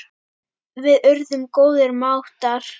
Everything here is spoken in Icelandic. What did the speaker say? Við urðum góðir mátar.